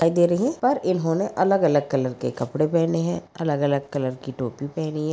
दिखाई दे रही है पर इन्होंने अलग अलग कलर के कपड़े पहने है अलग अलग कलर की टोपी पहनी है।